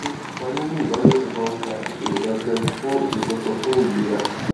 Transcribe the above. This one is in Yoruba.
ṣé kíkópa nínú ìbálòpò máa fa ìṣòro kankan fún ìṣòro kankan fún ìlera